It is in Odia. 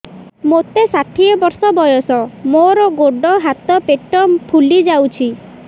ମୋତେ ଷାଠିଏ ବର୍ଷ ବୟସ ମୋର ଗୋଡୋ ହାତ ପେଟ ଫୁଲି ଯାଉଛି